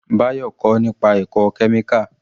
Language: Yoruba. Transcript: Bayo kọ́ nípa ẹ̀kọ́ kẹ́míkà